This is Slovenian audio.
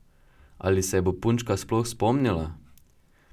Ali se je bo punčka sploh spomnila?